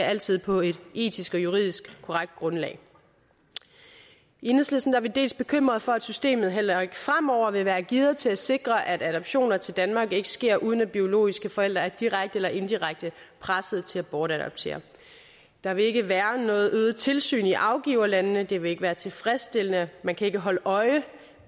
altid på et etisk og juridisk korrekt grundlag i enhedslisten er vi dels bekymrede for at systemet heller ikke fremover vil være gearet til at sikre at adoptioner til danmark ikke sker uden at biologiske forældre er direkte eller indirekte presset til at bortadoptere der vil ikke være noget øget tilsyn i afgiverlandene og det vil ikke være tilfredsstillende man kan ikke holde øje